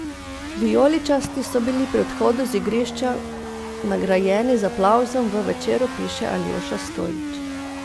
Vijoličasti so bili pri odhodu z igrišča nagrajeni z aplavzom, v Večeru piše Aljoša Stojič.